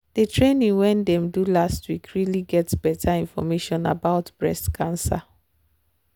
the training wen dem do last week really get better information about breast cancer.